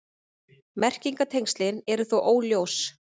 Merkingartengslin eru þó óljós.